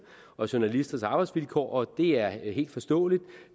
og journalisters arbejdsvilkår og det er helt forståeligt